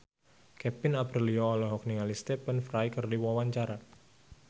Kevin Aprilio olohok ningali Stephen Fry keur diwawancara